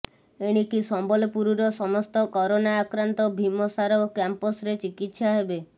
ଏଣିକି ସମ୍ବଲପୁରର ସମସ୍ତ କରୋନା ଆକ୍ରାନ୍ତ ଭିମସାର କ୍ୟାମ୍ପସରେ ଚିକିତ୍ସା ହେବେ